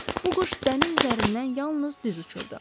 Bu quş dəniz üzərindən yalnız düz uçurdu.